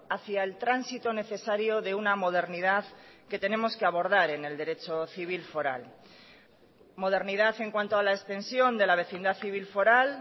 hacia el tránsito necesario de una modernidad que tenemos que abordar en el derecho civil foral modernidad en cuanto a la extensión de la vecindad civil foral